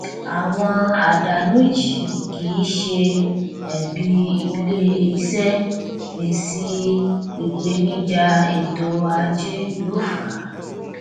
àwọn àdánù yìí kì ṣe ẹbi ilé iṣẹ èsì ìpènijà ètò ajé ló fa